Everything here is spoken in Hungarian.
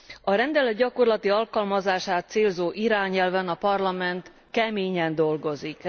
A rendelet gyakorlati alkalmazását célzó irányelven a Parlament keményen dolgozik.